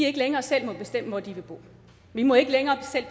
ikke længere selv må bestemme hvor de vil bo vi må ikke længere selv